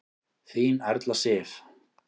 Þín Erla Sif.